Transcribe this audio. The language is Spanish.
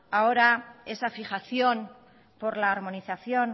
ahora esa fijación por la armonización